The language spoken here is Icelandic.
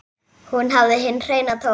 Hún hafði hinn hreina tón.